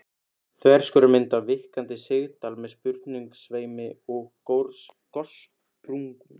Þverskurðarmynd af víkkandi sigdal með sprungusveimi og gossprungum.